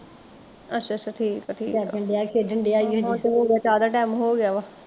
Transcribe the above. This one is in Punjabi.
ਅੱਛਾ ਅੱਛਾ ਠੀਕ ਆ ਠੀਕ ਆ ਚਾਹ ਦਾ ਟੈਮ ਦਾ ਹੋਗਿਆ ਵਾ